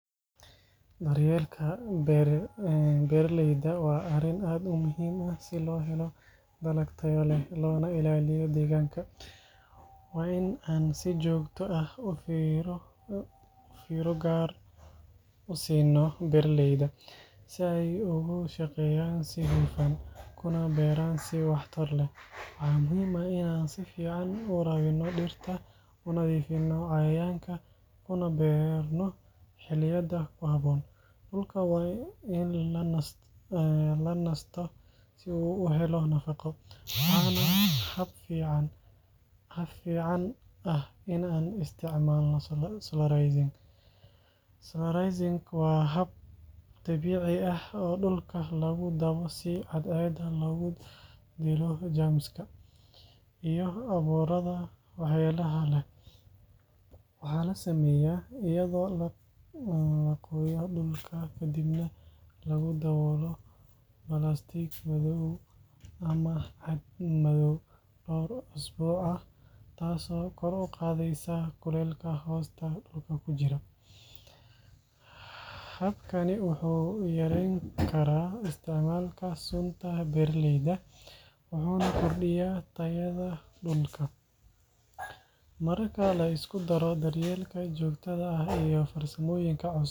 Daryeelka beera leyda waa arin aad u muhiim ah si lo helo dalag tayo leh lona ilaliyo deganka, waa in si jogto ah firo gar ah usino beera leyda marka ee beeran waxtar leh, waxaa la sameya iyada oo la kadib nah lagu dawolo cag mado, marka lisku daro ee jogto ah.